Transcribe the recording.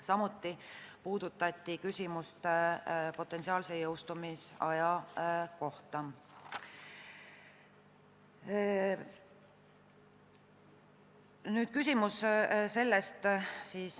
Samuti puudutati potentsiaalse jõustumisaja küsimust.